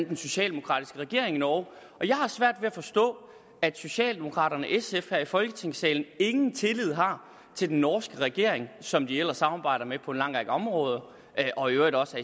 den socialdemokratiske regering i norge og jeg har svært ved at forstå at socialdemokraterne og sf her i folketingssalen ingen tillid har til den norske regering som de ellers samarbejder med på en lang række områder og i øvrigt også